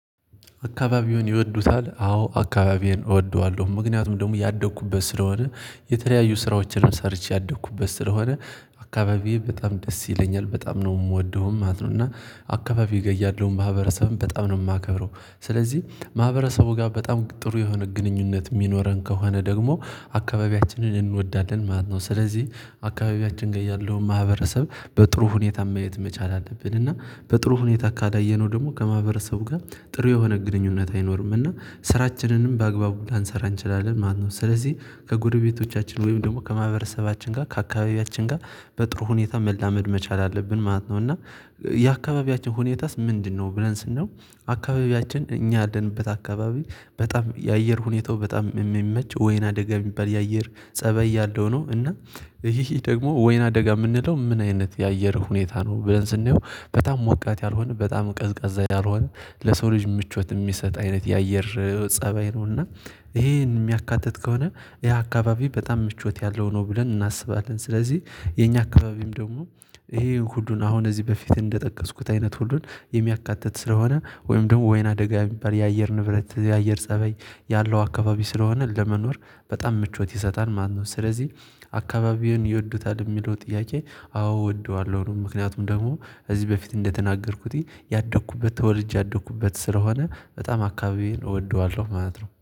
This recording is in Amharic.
አካባቢውን ይወዱታል አዎ አካባቢዬን እወደዋለሁ ምክንያቱም ደግሞ ያደግኩበት ስለሆነ የተለያዩ ስራዎችንም ሰርቼ ያደኩበት ስለሆነ አካባቢዬ በጣም ደስ ይለኛል በጣም ነው የምወደውም ማለት ነው። እና አካባቢዬ ይገያል ያለውን ማህበረሰብን በጣም ነው የማከብረው። ስለዚህ ማህበረሰቡ ጋር በጣም ጥሩ የሆነ ግንኙነት የሚኖረን ከሆነ ደግሞ አካባቢያችንን እንወዳለን ማለት ነው። ስለዚህ አካባቢያችን ጋር ያለውን ማህበረሰብ በጥሩ ሁኔታ ማየት መቻል አለብን። እና በጥሩ ሁኔታ ካላየነው ደግሞ ከማህበረሰቡ ጋር ጥሩ የሆነ ግንኙነት አይኖርምና ስራችንንም በአግባቡ ላንሰራ እንችላለን። ማነው ስለዚህ ከጎረቤቶቻችን ወይም ደግሞ ከማህበረሰባችን ጋር ከአካባቢያችን ጋር በጥሩ ሁኔታ መላመድ መቻል አለብን ማለት ነው። እና የአካባቢያችን ሁኔታስ ምንድነው? ብለን ስንለው አካባቢያችን እኛ አለንበት አካባቢ በጣም የአየር ሁኔታው በጣም የሚመቸው ወይን አደጋ የሚባል የአየር ፀበይ ያለው ነው። እና ይሄ ደግሞ ወይን አደጋ የምንለው ምን አይነት የአየር ሁኔታ ነው? ብለን ስንየው በጣም ሞቃት ያልሆነ በጣም ቀዝቃዛ ያልሆነ ለሰው ልጅ ምቾት የሚሰጥ አይነት የአየር ፀባይ ነው። እና ይሄን የሚያካትት ከሆነ ያ አካባቢ በጣም ምቾት ያለው ነው ብለን እናስባለን። ስለዚህ የኛ አካባቢም ደግሞ ይሄ ሁሉን አሁን እዚህ በፊት እንደጠቀስኩት አይነት ሁሉን የሚያካትት ስለሆነ ወይም ደግሞ ወይና ደጋ የሚባል የአየር ንብረት የአየር ፀበይ ያለው አካባቢ ስለሆነ ለመኖር በጣም ምቾት ይሰጣል። ማነው ስለዚህ አካባቢውን ይወዱታል? የሚለው ጥያቄ አዎ እወደዋለሁ ምክንያቱም ደግሞ ከዚህ በፊት እንደተናገርኩት ያደኩበት ተወልጄ ያደኩበት ስለሆነ በጣም አካባቢዬን እወደዋለሁ ማለት ነው